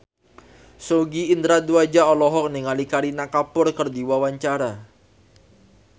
Sogi Indra Duaja olohok ningali Kareena Kapoor keur diwawancara